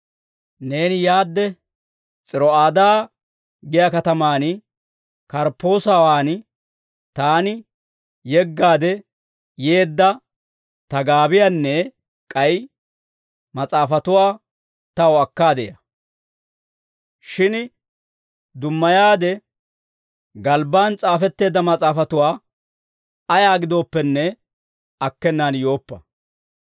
Neeni yaadde, S'iro'aadaa giyaa katamaan Karppoosawan taani yeggaade yeedda ta gaabiyaanne k'ay mas'aafatuwaa taw akkaade ya. Shin dummayaade galbbaan s'aafetteedda mas'aafatuwaa ayaa giddoppenne, akkenaan yooppa.